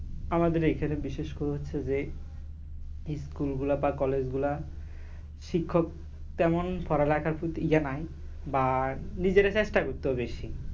আমাদের এখানে বিশেষ করে হচ্ছে যে school গুলা বা college গুলা শিক্ষক তেমন পড়ালেখার প্রতি ইয়ে নাই বা নিজেরে চেষ্টা করতে হবে বেশি